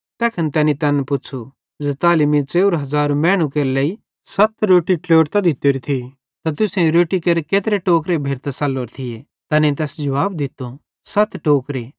तैखन तैनी तैन पुच़्छ़ू ज़ताली मीं 4000 मैनू केरे लेइ सत रोट्टी ट्लोड़तां दित्तोरी थी त तुसेईं रोट्टी केरे केत्रे टोकरे भेरतां सल्लोरे थिये तैनेईं तैस जुवाब दित्तो सत टोकरे